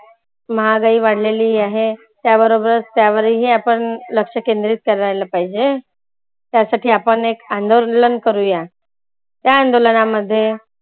महागाई वाढलेली आहे. त्या बरोबर त्यावर ही आपण लक्ष केंद्रीत करायला पाहिजे. त्या साठी आपण एक अंदोलन करुया त्या अंदोलना मध्ये